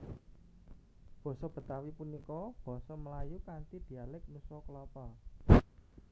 Basa Betawi punika basa Melayu kanthi dialék Nusa Kalapa